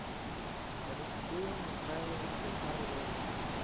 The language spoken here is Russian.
алексею михайловичу орлову